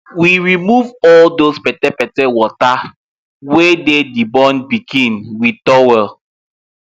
we remove all those petepete water wey dey the born pikin with towel